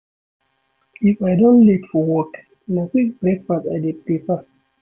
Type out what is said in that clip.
If I don late for work, na quick breakfast I dey prefer.